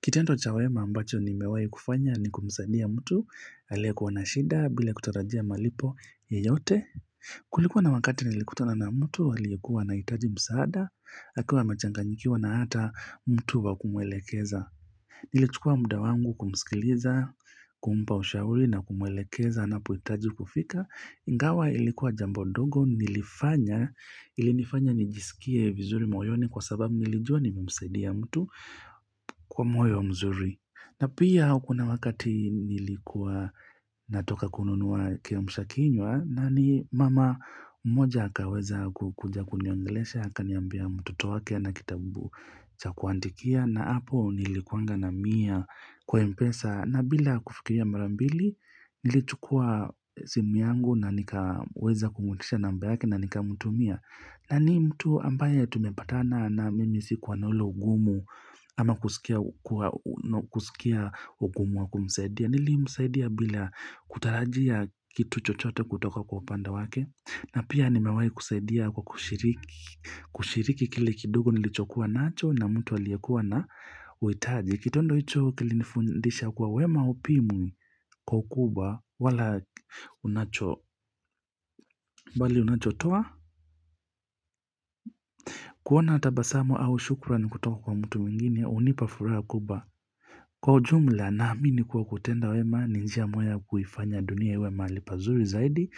Kitendo cha wema ambacho nimewahi kufanya ni kumsaidia mtu, aliyekuwa na shida bila kutarajia malipo yoyote. Kulikuwa na wakati nilikutana na mtu, aliyekuwa anahitaji msaada, akiwa amechanganyikiwa na hata mtu wa kumwelekeza. Nilichukuwa muda wangu kumsikiliza, kumpa ushauri na kumwelekeza anapohitaji kufika. Ingawa ilikuwa jambo dogo nilifanya, ilinifanya nijisikie vizuri moyoni kwa sababu nilijua nimemsaidia mtu kwa moyo mzuri. Na pia kuna wakati nilikuwa natoka kununua kiamsha kinywa na ni mama mmoja hakaweza kukuja kuniongelesha akaniambia mtoto wake hana kitabu cha kuandikia na hapo nilikuanga na mia kwa mpesa. Na bila kufikiria mara mbili nilichukua simu yangu na nikaweza kumuutisha namba yake na nikamtumia na ni mtu ambaye tumepatana na mimi sikuwa na ule ugumu ama kusikia ugumu wa kumsaidia nilimsaidia bila kutarajia kitu chochote kutoka kwa upande wake na pia nimewahi kusaidia kwa kushiriki kushiriki kile kidogo nilichokuwa nacho na mtu aliyekuwa na uhitaji Kitendo hicho kilifundisha kuwa wema haupimwi kwa ukubwa wala unacho mbali unachotoa kuona tabasamu au shukrani kutoka kwa mtu mwingine unipa furaha kubwa Kwa ujumla naamini kuwa kutenda wema ni njia moya kuifanya dunia iwe mahali pazuri zaidi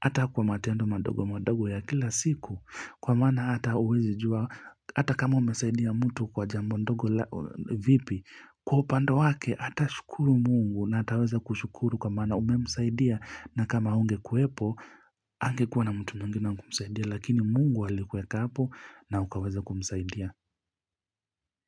Ata kwa matendo madogo madogo ya kila siku Kwa maana ata kama umesaidia ya mtu kwa jambo ndogo vipi Kwa upande wake atashukuru Mungu na ataweza kushukuru kwa maana umemsaidia na kama hungekwepo angekuwa na mtu mwingine kumsaidia lakini mungu alikuweka hapo na ukaweza kumsaidia.